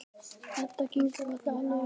Edda kinkar kolli, alveg viss.